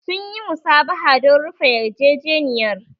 Sun yi musabaha don rufe yarjejeniyar.